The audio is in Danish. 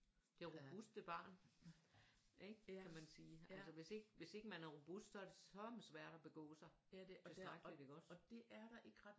Det er jo robuste barn ikke kan man sige altså hvis ikke man er robust så er det sørme svært at begå sig tilstrækkeligt ikke også